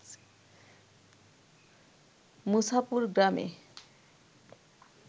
মুছাপুর গ্রামে